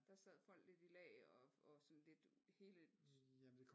Der sad folk lidt i lag og sådan lidt hele